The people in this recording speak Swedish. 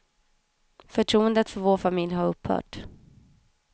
Förtroendet för vår familj har upphört.